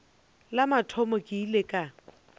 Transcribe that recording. la mathomo ke ile ka